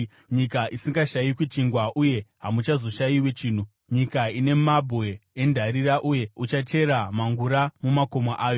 nyika isingashayikwi chingwa uye hamuchazoshayiwi chinhu; nyika ine mabwe endarira uye uchachera mhangura mumakomo ayo.